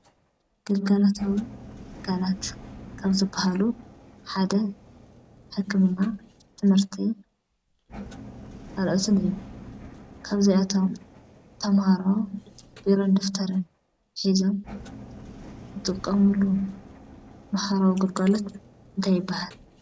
ግልጋሎታዊ ትካላት ካብ ዝበሃሉ ሓደ ሕክምና፣ ትምህርቲ ካልኦትን እዮም፡፡ ካብዚአቶም ተምሃሮ ቢሮን ደፍተርን ሒዞም ዝጥቀምሉ ማሕበራዊ ግልጋሎት እንታይ ይበሃል?